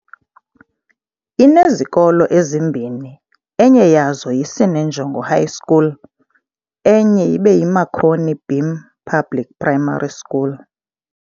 inezikolo ezimbini enye yazo yi Sinenjongo High School enye ibeyi Marconi beam public Primary School.